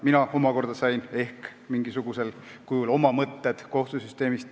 Mina omakorda sain ehk mingisugusel kujul edastada teile oma mõtted kohtusüsteemist.